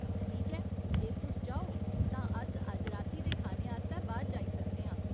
ठीक ऐ, जे तुस चाहो तां अस अज्ज राती दे खाने आस्तै बाह्‌र जाई सकने आं।